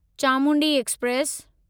Chamundi express